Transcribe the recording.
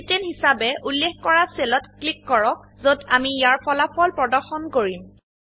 চি10 হিসাবে উল্লেখ কৰা সেলত ক্লিক কৰক যত আমি ইয়াৰ ফলাফল প্ৰদৰ্শন কৰিম